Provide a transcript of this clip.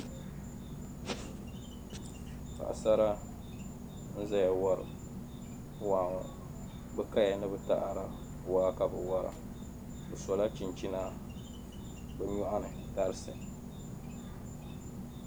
Paɣasara n-zaya wari waa ŋɔ be kaya ni taada waa ka be wara be sola chinchina be nyuɣani tarisi.